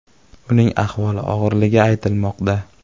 Uning ahvoli og‘irligi aytilmoqda.